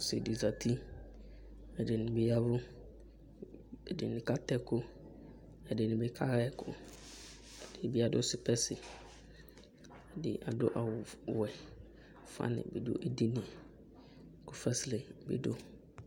Ɔsɩ dɩ zǝtɩ, ɛdɩnɩ bɩ yavʋ, ɛdɩnɩ kata ɛkʋ, ɛdɩnɩ bɩ kaɣa ɛkʋ, ɛdɩnɩ bɩ adʋ spɛsɩ, ɛdɩ adʋ awʋwɛ Fanɩ bɩ dʋ edini yɛ kʋ fasɛlɛ bɩ dʋ